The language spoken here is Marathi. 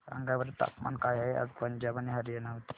सांगा बरं तापमान काय आहे आज पंजाब आणि हरयाणा मध्ये